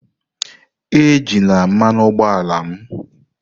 Ejila mmanụ ụgbọala m!